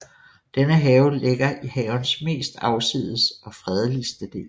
Denne have ligger i havens mest afsides og fredeligste del